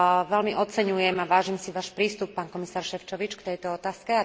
Veľmi oceňujem a vážim si Váš prístup, pán komisár Šefčovič, v tejto otázke.